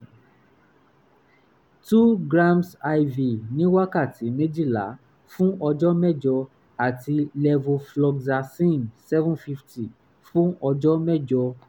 2 gms iv ní wákàtí méjìlá fún ọjọ́ mẹ́jọ àti levofloxacin 750 fún ọjọ́ mẹ́jọ